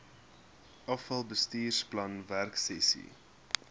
afal bestuursplan werksessies